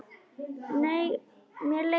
Nei, mér leiðist ekki.